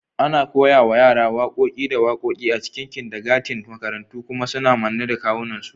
Ana koya wa yara waƙoƙi da waƙoƙi a cikin kindergarten da makarantu, kuma suna manne da kawunansu.